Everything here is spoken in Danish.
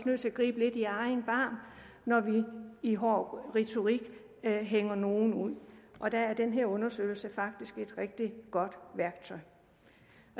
nødt til at gribe lidt i egen barm når vi i hård retorik hænger nogle ud og der er den her undersøgelse faktisk et rigtig godt værktøj